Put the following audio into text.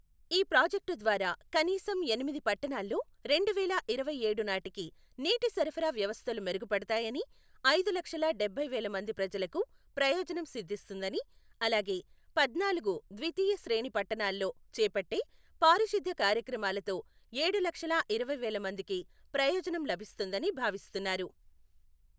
ఈ ప్రాజెక్టు ద్వారా కనీసం ఎనిమిది పట్టణాల్లో రెండువేల ఇరవై ఏడు నాటికి నీటి సరఫరా వ్యవస్థలు మెరుగుపడతాయని, ఐదు లక్షల డబ్బై వేల మంది ప్రజలకు ప్రయోజనం సిద్ధిస్తుందని, అలాగే పద్నాలుగు ద్వితీయ శ్రేణి పట్టణాల్లో చేపట్టే పారిశుద్ధ్య కార్యక్రమాలతో ఏడు లక్షల ఇరవై వేల మందికి ప్రయోజనం లభిస్తుందని భావిస్తున్నారు.